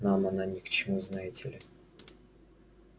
нам она ни к чему знаете ли